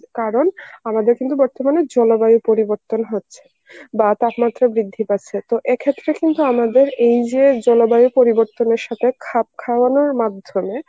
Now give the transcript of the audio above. কারণ আমাদের কিন্তু বর্তমানে জলবায়ু পরিবর্তন হচ্ছে বা তাপমাত্রা বৃদ্ধি পাচ্ছে তো এক্ষেত্রে কিন্তু আমাদের এই যে জলবায়ু পরিবর্তনের সাথে খাপ খাওয়ানোর মাধ্যমে